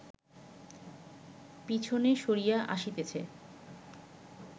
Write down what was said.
পিছনে সরিয়া আসিতেছে